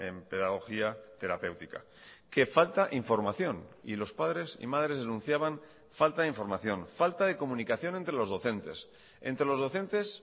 en pedagogía terapéutica que falta información y los padres y madres denunciaban falta de información falta de comunicación entre los docentes entre los docentes